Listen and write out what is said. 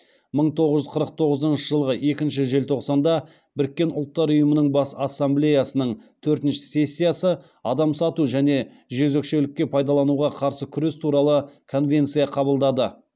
мың тоғыз жүз қырық тоғызыншы жылғы екінші желтоқсанда біріккен ұлттар ұйымының бас ассамблеясының төртінші сессиясы адам сату және жезөкшелікке пайдалануға қарсы күрес туралы конвенция қабылдады